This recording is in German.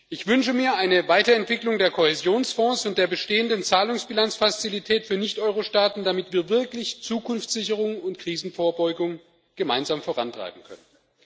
Ich wünsche mir eine Weiterentwicklung des Kohäsionsfonds und der bestehenden Zahlungsbilanzfazilität für Nicht Euro Staaten, damit wir wirklich Zukunftssicherung und Krisenvorbeugung gemeinsam vorantreiben können.